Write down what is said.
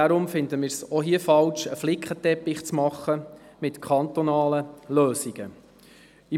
Wir finden es diesbezüglich falsch, einen Flickenteppich mit kantonalen Lösungen zu machen.